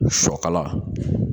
Sɔ kala